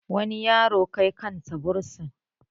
wani yaro Kai kansa bursin